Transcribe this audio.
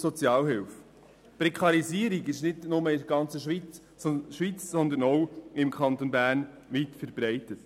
Die Prekarisierung ist nicht nur in der ganzen Schweiz, sondern auch im Kanton Bern weit verbreitet.